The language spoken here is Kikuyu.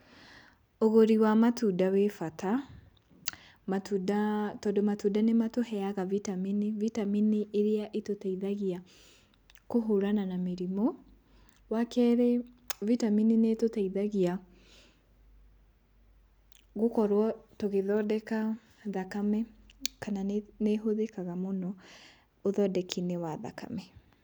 Ũgũri wa matunda wĩ bata, matunda tondũ matunda nĩmatũheaga vitameni, vitameni ĩrĩa ĩtũteithagia kũhũrana na mĩrimũ. Wakerĩ vitameni nĩĩtũteithagia gũkorwo tũgĩthondeka thakame kana nĩ ĩhũthĩkaga mũno ũthondeki-inĩ wa thakame.